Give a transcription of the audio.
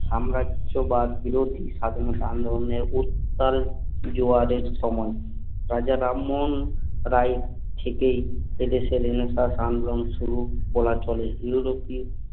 সাম্রাজ্যবাদ বিরোধী স্বাধীনতা আন্দোলনের উত্তাল জোয়ার এর সময়ে রাজা রামমোহন রায় থেকেই এ দেশের রেনেসাঁস আন্দোলন শুরু বলা চলে ইউরোপী